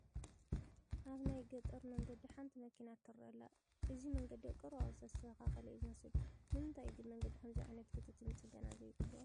ኣብ ናይ ገጠር መንገዲ ሓንቲ መኪና ትርአ ኣላ፡፡ እዚ መንገዲ ኣብ ቀረባ እዋን ዝተስተኻኸለ እዩ ዝመስል፡፡ ንምንታይ እዩ ግን መንገዲ ከምዚ ዓይነት ክትትልን ፅገናን ዘይግበሮ?